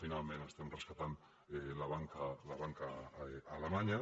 finalment estem rescatant la banca alemanya